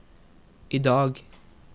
idag